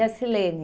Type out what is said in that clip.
E a Silene.